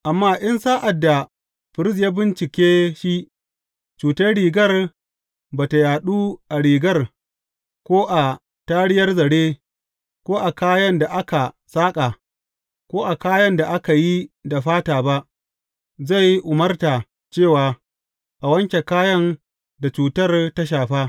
Amma in sa’ad da firist ya bincike shi, cutar rigar ba ta yaɗu a rigar, ko a tariyar zare, ko a kayan da aka saƙa, ko a kayan da aka yi da fata ba, zai umarta cewa a wanke kayan da cutar ta shafa.